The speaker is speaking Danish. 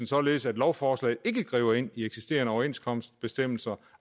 således at lovforslaget ikke griber ind i eksisterende overenskomstbestemmelser